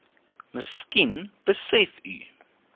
miskien besef u